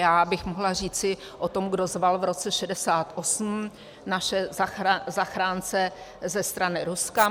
Já bych mohla říci o tom, kdo zval v roce 1968 naše zachránce ze strany Ruska.